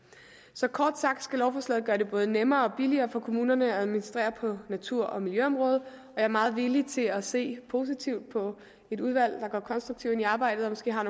så kort sagt skal lovforslaget gøre det både nemmere og billigere for kommunerne at administrere på natur og miljøområdet og jeg er meget villig til at se positivt på et udvalg der går konstruktivt ind i arbejdet og måske har